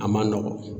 A man nɔgɔn